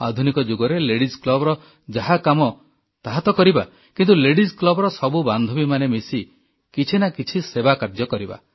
ଆଧୁନିକ ଯୁଗରେ ଲେଡିଜ୍ କ୍ଲବର ଯାହା କାମ ତାହା ତ କରିବା କିନ୍ତୁ ଲେଡିଜ୍ କ୍ଲବର ସବୁ ବାନ୍ଧବୀମାନେ ମିଶି କିଛି ନା କିଛି ସେବାକାର୍ଯ୍ୟ କରିବା